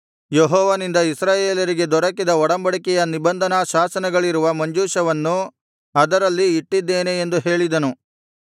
ಯೆಹೋವನಿಂದ ಇಸ್ರಾಯೇಲರಿಗೆ ದೊರಕಿದ ಒಡಂಬಡಿಕೆಯ ನಿಬಂಧನಾಶಾಸನಗಳಿರುವ ಮಂಜೂಷವನ್ನು ಅದರಲ್ಲಿ ಇಟ್ಟಿದ್ದೇನೆ ಎಂದು ಹೇಳಿದನು